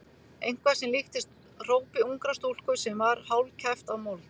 Eitthvað sem líktist hrópi ungrar stúlku sem var hálfkæft af mold.